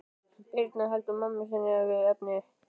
Birna heldur mömmu sinni við efnið.